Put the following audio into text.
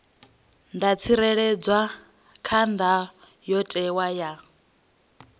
dza tsireledzwa kha ndayotewa ya